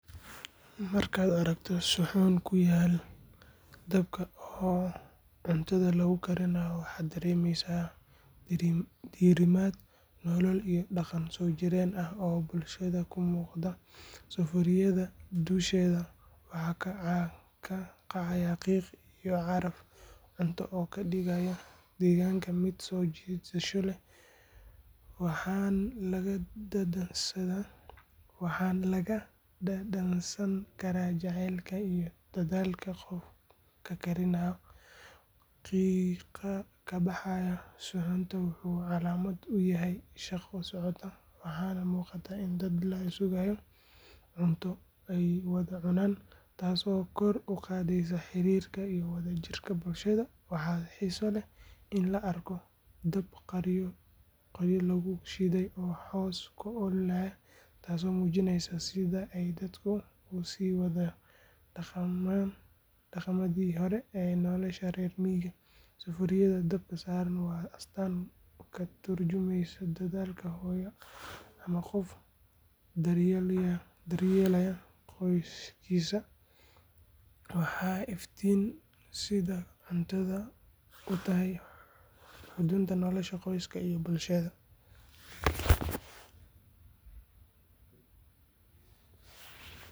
Markaad aragto suxuun ku yaal dabka oo cuntada lagu karinayo waxaad dareemaysaa diirimaad, nolol iyo dhaqan soo jireen ah oo bulshada ka muuqda. Sufuuriyadda dusheeda waxaa ka kacaya qiiq iyo caraf cunto oo ka dhigaya deegaanka mid soo jiidasho leh, waxaana laga dhadhansan karaa jacaylka iyo dadaalka qofka karinaya. Qiiqa ka baxaya suxuunta wuxuu calaamad u yahay shaqo socota, waxaana muuqata in dad la sugayo cunto ay wada cunaan, taas oo kor u qaadaysa xiriirka iyo wadajirka bulshada. Waxaa xiiso leh in la arko dab qoryo lagu shiday oo hoos ka ololaya, taasoo muujinaysa sida ay dadku u sii wadaan dhaqamadii hore ee nolosha reer miyiga. Sufuuriyad dabka saaran waa astaan ka tarjumeysa dadaalka hooyo ama qof daryeelaya qoyskiisa, waxayna iftiiminaysaa sida cuntada u tahay xudunta nolosha qoyska iyo bulshadaba.